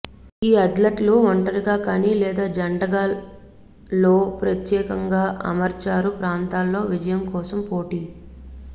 ఈ అథ్లెట్లు ఒంటరిగా కానీ లేదా జంటగా లో ప్రత్యేకంగా అమర్చారు ప్రాంతాల్లో విజయం కోసం పోటీ